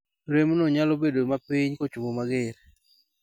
rem no nyalo bed ma piny kochomo mager